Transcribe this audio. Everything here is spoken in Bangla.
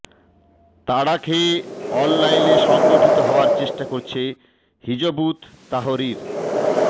তাড়া খেয়ে অনলাইনে সংগঠিত হওয়ার চেষ্টা করছে হিযবুত তাহরির